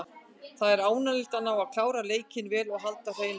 Það er ánægjulegt að ná að klára leikinn vel og halda hreinu.